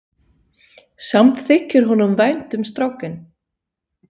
Samt þykir honum vænt um strákinn.